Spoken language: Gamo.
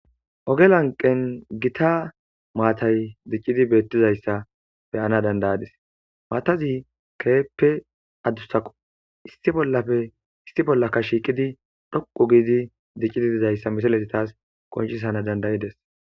Oge lanqen Gita matay dicid betizaysa beyana danda'adis, mataz keehippe adusako issi bolaka shiqid dhoqu gid dizaysa misilez tas qoncisanas danda'ades.